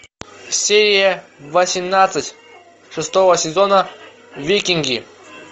серия восемнадцать шестого сезона викинги